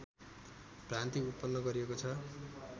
भ्रान्ति उत्पन्न गरिएको छ